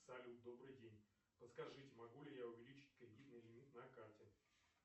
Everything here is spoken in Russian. салют добрый день подскажите могу ли я увеличить кредитный лимит на карте